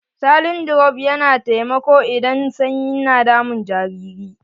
Saline drops na taimako idan sanyi na damun jariri.